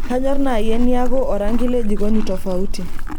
kanyor nai eniaku orangi le jikoni tofauti